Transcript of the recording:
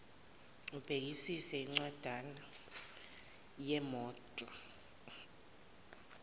ubhekisise incwanjana yemoto